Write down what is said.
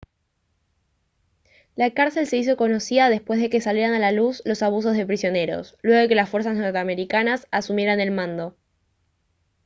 la cárcel se hizo conocida después de que salieran a la luz los abusos de prisioneros luego de que las fuerzas norteamericanas asumieran el mando